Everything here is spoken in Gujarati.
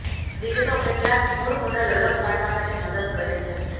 વિગતો કેટલાક મૂળ મોડલ અલગ પાડવા માટે મદદ કરે છે